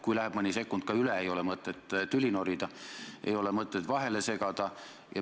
Kui läheb mõni sekund üle, ei ole mõtet tüli norida, ei ole mõtet vahele segada.